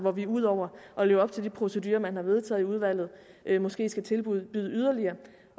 at vi ud over at leve op til de procedurer man har vedtaget i udvalget måske skal tilbyde at yderligere